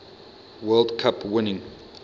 world cup winning